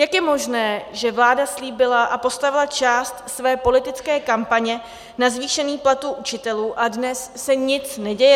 Jak je možné, že vláda slíbila a postavila část své politické kampaně na zvýšení platů učitelů a dnes se nic neděje?